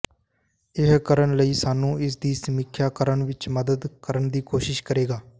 ਇਹ ਕਰਨ ਲਈ ਸਾਨੂੰ ਇਸ ਦੀ ਸਮੀਖਿਆ ਕਰਨ ਵਿੱਚ ਮਦਦ ਕਰਨ ਦੀ ਕੋਸ਼ਿਸ਼ ਕਰੇਗਾ